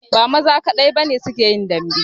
Ba maza kadai ba ne su ke yin dambe